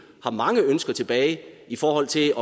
har mange ønsker tilbage i forhold til